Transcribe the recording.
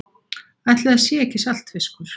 Ætli það sé ekki saltfiskur.